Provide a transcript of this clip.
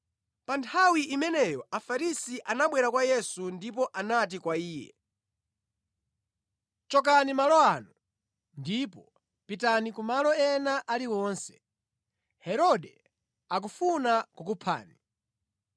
Pa nthawi imeneyo Afarisi anabwera kwa Yesu ndipo anati kwa Iye, “Chokani malo ano ndipo pitani kumalo ena aliwonse. Herode akufuna kukuphani.”